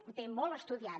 ho té molt estudiat